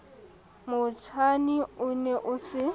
motjhine o ne o se